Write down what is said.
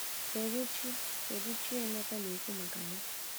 Kedụ Chi Kedụ Chi Emeka na-ekwu maka ya?